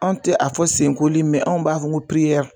Anw tɛ a fɔ senkoli anw b'a fɔ ko